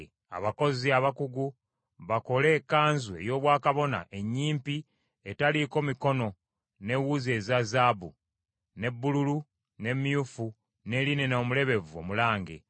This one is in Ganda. “Abakozi abakugu bakole ekkanzu ey’obwakabona ennyimpi etaliiko mikono n’ewuzi eza zaabu, ne bbululu, ne myufu, ne linena omulebevu omulange.